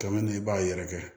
Kɛmɛ na i b'a yɛrɛkɛ